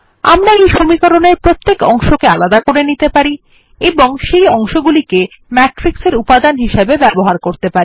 আমরা এই সমীকরণের প্রত্যেক অংশকে আলাদা করে নিতে পারি এবং সেই অংশগুলিকে Matrix এর উপাদান হিসাবে ব্যবহার করতে পারি